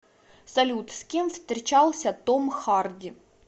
салют с кем встречался том харди